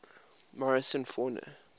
morrison fauna